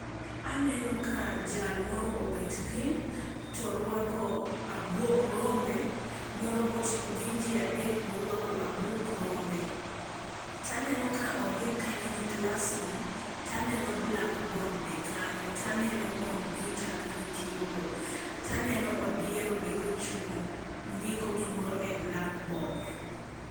Aneno ka jal moro obet piny, to orwako abuog rombe, moro bo gin ji adek morwako abuog rombe. Taneno ka ondik kanyo ni classroom, taneno blackboard be kanyo, taneno komputa ka gitiyogo, taneno odier be ka ochung' ndiko gimoro e blackboard.